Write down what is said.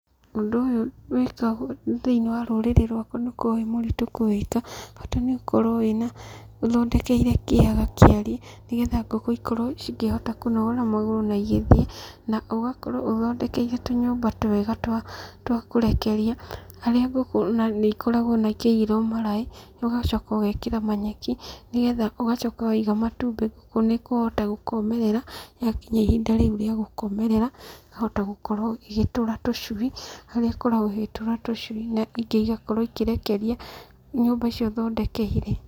Ũndũ ũyũ wĩkagwo thĩinĩ wa rũrĩrĩ rwakwa ndũkoragwo wĩ mũritũ kũwĩka, bata nĩ ũkorwo wĩna, ũthondekeire kĩaga kĩarie, nĩgetha ngũkũ ikorwo cikĩhota kũnogora magũrũ na igĩthiĩ, na ũgakorwo ũthondekeire tũnyũmba twega twa twa kũrekeria harĩa ngũkũ na nĩ ikoragwo ikĩigĩrwo maraĩ, ũgacoka ũgekĩra manyeki, nĩgetha ũgacoka waiga matumbĩ ngũkũ nĩ ikũhota gũkomerera, yakinya ihinda rĩu rĩa gũkomerera, ĩkahota gũkorwo igĩtũra tũcui, harĩa ikoragwo ĩgĩtũra tũcui na ingĩ igakorwo ikĩrekeria nyũmba icio thondekeire.